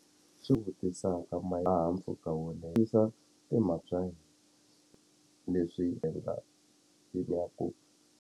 Swi vutisaka mpfhuka wo timhaka leswi endla leswaku.